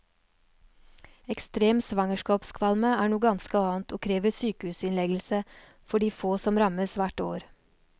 Ekstrem svangerskapskvalme er noe ganske annet, og krever sykehusinnleggelse for de få som rammes hvert år.